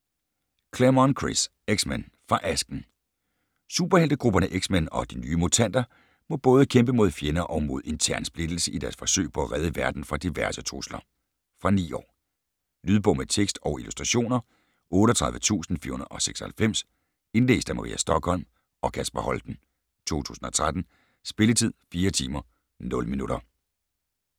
Claremont, Chris: X-men - fra asken Superheltegrupperne X-men og De nye mutanter må både kæmpe mod fjender og mod intern splittelse i deres forsøg på at redde verden fra diverse trusler. Fra 9 år. Lydbog med tekst og illustrationer 38496 Indlæst af Maria Stokholm og Kasper Holten, 2013. Spilletid: 4 timer, 0 minutter.